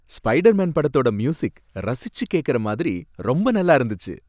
Spiderman படத்தோட music ரசிச்சு கேக்குற மாதிரி ரொம்ப நல்லா இருந்துச்சு.